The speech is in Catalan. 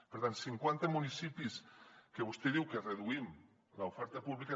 per tant cinquanta municipis que vostè diu que hi reduïm l’oferta pública